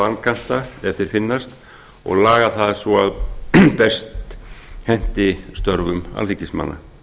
vankanta ef þeir finnast og lagað það svo að best henti störfum alþingismanna